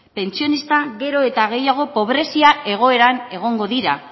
pentsionistak gero eta gehiago pobrezia egoeran egongo dira